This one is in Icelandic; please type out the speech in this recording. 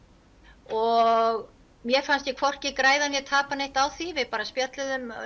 og mér fannst ég hvorki græða né tapa neitt á því við bara spjölluðum